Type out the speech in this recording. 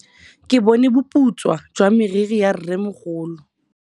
Ke bone boputswa jwa meriri ya rrêmogolo.